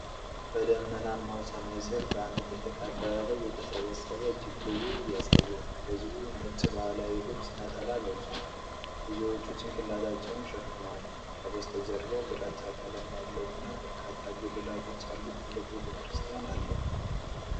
በደመናማ ሰማይ ሥር በአንድ ትልቅ አደባባይ የተሰበሰበ እጅግ ብዙ ሕዝብ ያሳያል። ሕዝቡ ነጭ ባህላዊ ልብስ (ነጠላ) ለብሷል፤ ብዙዎቹ ጭንቅላታቸውን ሸፍነዋል። ከበስተጀርባው ግራጫ ቀለም ያለው እና በርካታ ጉልላቶች ያሉት ትልቅ ቤተ ክርስቲያን አለ።